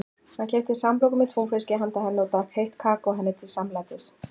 Hann keypti samloku með túnfiski handa henni og drakk heitt kakó henni til samlætis.